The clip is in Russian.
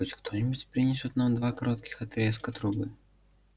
пусть кто-нибудь принесёт нам два коротких отрезка трубы